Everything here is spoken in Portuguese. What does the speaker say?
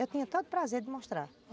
Eu tinha todo prazer de mostrar.